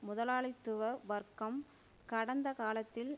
முதலாளித்துவ வர்க்கம் கடந்த காலத்தில்